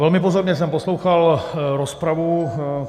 Velmi pozorně jsem poslouchal rozpravu.